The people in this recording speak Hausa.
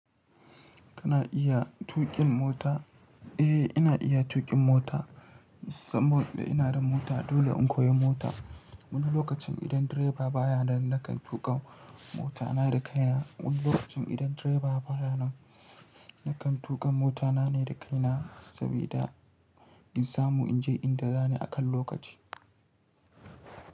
Kana iya tuƙin mota? Eh, ina iya tuƙin mota saboda ina da mota. Dole in koyi mota wani lokacin idan direba baya nan nakan tuƙa mota ta, ta kaina. Wani lokacin idan direba baya nan nakan tuƙa mota na ne da kaina saboda in samu in je inda zanje akan lokaci.